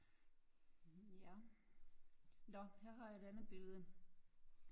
Mh ja når her har jeg et andet billede